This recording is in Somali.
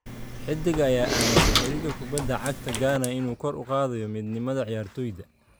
Xidigga ayaa aaminsan xiriirka kubadda cagta Ghana inuu kor u qaadayo midnimada ciyaartoyda.